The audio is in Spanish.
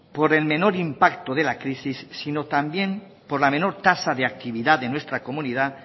por el menor impacto de la crisis sino también por la menor tasa de actividad de nuestra comunidad